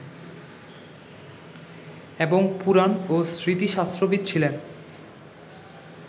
এবং পুরাণ ও স্মৃতিশাস্ত্রবিদ ছিলেন